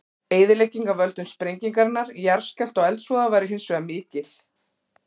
Eyðilegging af völdum sprengingarinnar, jarðskjálfta og eldsvoða væri hins vegar mikil.